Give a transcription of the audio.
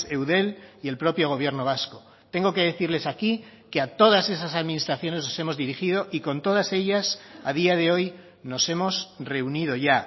eudel y el propio gobierno vasco tengo que decirles aquí que a todas esas administraciones nos hemos dirigido y con todas ellas a día de hoy nos hemos reunido ya